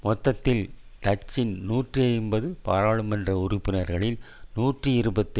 மொத்தத்தில் டச்சின் நூற்றி ஐம்பது பாராளுமன்ற உறுப்பினர்களில் நூற்றி இருபத்தி